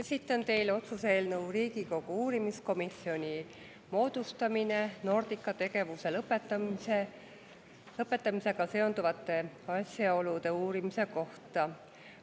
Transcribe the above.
Esitlen teile otsuse "Riigikogu uurimiskomisjoni moodustamine Nordica tegevuse lõpetamisega seonduvate asjaolude uurimiseks" eelnõu.